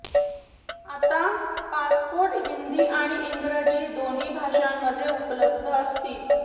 आता पासपोर्ट हिंदी आणि इंग्रजी दोन्ही भाषांमध्ये उपलब्ध असतील